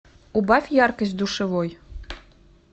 убавь яркость в душевой